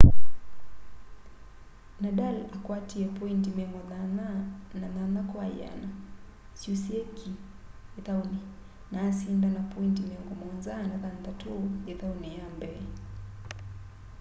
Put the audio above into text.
nadal akwatie poindi 88% syusîe ki îthaûnî na asinda na poindi 76 îthaûnî ya mbee